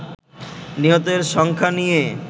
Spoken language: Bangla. নিহতের সংখ্যা নিয়ে